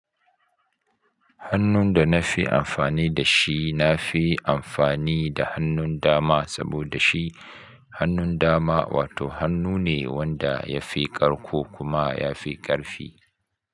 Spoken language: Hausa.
Hannun da na fi amfani da shi, na fi amfani da hannun dama saboda shi hannun dama wato hannu ne wanda ya fi ƙarko kuma ya fi ƙarfi.